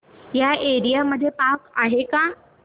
या एरिया मध्ये पार्क आहे का